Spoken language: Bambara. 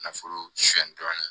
Nafolo soni dɔɔnin